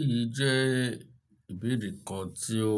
Èyí jẹ́ ìbéèrè kan tí ó